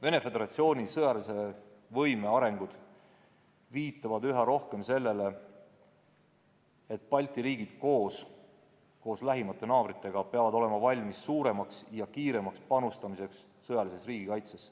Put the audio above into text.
Venemaa Föderatsiooni sõjalise võime arengud viitavad üha rohkem sellele, et Balti riigid koos lähimate naabritega peavad olema valmis suuremaks ja kiiremaks panustamiseks sõjalisse riigikaitsesse.